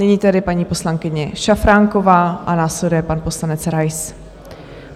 Nyní tedy paní poslankyně Šafránková a následuje pan poslanec Rais.